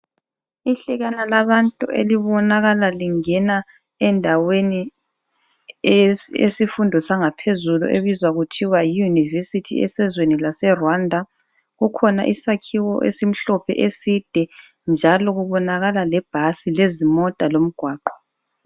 Ihlekana labantu elibonakala lingena endaweni yesifundo sangaphezulu ebizwa kuthiwa yi Univesithi esezweni laseRwanda. Kukhona isakhiwo esimhlophe eside njalo kubonakala lebhasi lezimota lomgwaqo.